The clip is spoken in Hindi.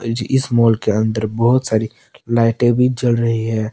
जी इस मॉल के अंदर बहुत सारी लाइटें भी जल रही हैं।